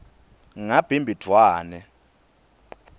ngabhimbidvwane